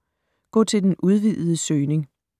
Gå til den udvidede søgning